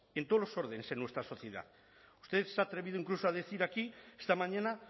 en todos los órdenes en nuestra sociedad usted se ha atrevido incluso a decir aquí esta mañana